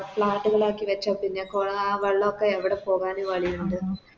Flat ളാക്കി വെച്ച പിന്നെ കൊള ആ വെള്ളൊക്കെ എവിടെ പോവാന് വളിയുണ്ട്